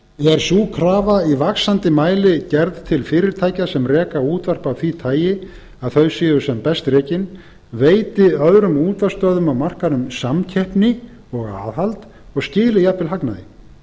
er sú krafa í vaxandi mæli gerð til fyrirtækja sem reka útvarp af því tagi að þau séu sem best rekin veiti öðrum útvarpsstöðvum á markaðnum samkeppni og aðhald og skili jafnvel hagnaði þess vegna er nauðsynlegt